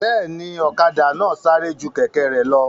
Bẹ́ẹ̀ni, ọ̀kadà náà sáré ju kẹ̀kẹ́ rẹ̀ lọ